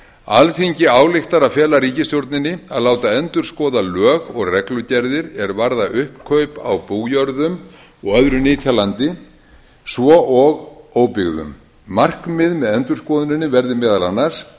alþingi ályktar að fela ríkisstjórninni að láta endurskoða lög og reglugerðir er varða uppkaup á bújörðum og öðru nytjalandi svo og óbyggðum markmið með endurskoðuninni verði meðal annars